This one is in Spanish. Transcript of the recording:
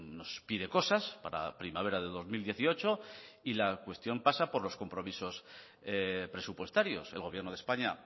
nos pide cosas para primavera de dos mil dieciocho y la cuestión pasa por los compromisos presupuestarios el gobierno de españa